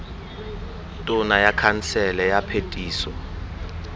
tona ya khansele ya phetiso